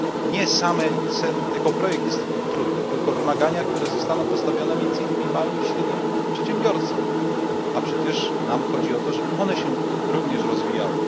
nie sam ekoprojekt jest trudny, tylko wymagania, które zostaną postawione między innymi małym i średnim przedsiębiorstwom, a przecież nam chodzi o to, żeby one się również rozwijały.